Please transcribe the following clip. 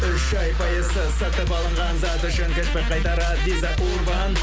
үш ай пайызсыз сатып алынған зат үшін чекті қайтарар виза урбан